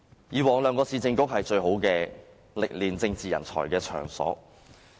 以往兩個市政局是訓練政治人才的最好場所。